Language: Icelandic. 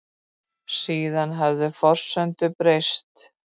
Síðan hefðu forsendur breyst